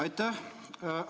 Aitäh!